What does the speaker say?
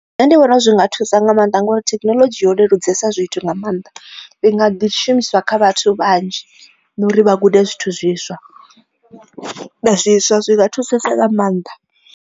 Nṋe ndi vhona zwi nga thusa nga maanḓa ngori thekinoḽodzhi yo leludza zwithu nga maanḓa ndi nga ḓi shumiswa kha vhathu vhanzhi na uri vha gude zwithu zwiswa zwiswa zwi nga thusesa nga maanḓa.